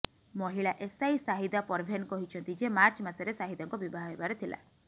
ମହିଳା ଏସଆଇ ଶାହିଦା ପରଭେନ କହିଛନ୍ତି ଯେ ମାର୍ଚ୍ଚ ମାସରେ ଶାହିଦାଙ୍କ ବିବାହ ହେବାର ଥିଲା